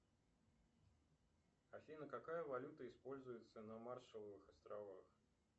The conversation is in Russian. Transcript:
афина какая валюта используется на маршалловых островах